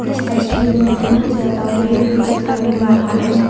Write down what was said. इस तस्वीर में बहुत ज्यादा पेड़ भी दिखाई मिल रहा है।